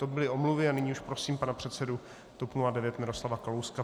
To byly omluvy a nyní už prosím pana předsedu TOP 09 Miroslava Kalouska.